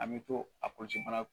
An mɛ to a